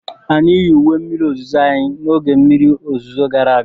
anyị yi uwe mmiri ozuzo anyị n'oge mmiri ozuzo gara aga.